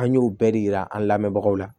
An y'u bɛɛ de yira an lamɛnbagaw la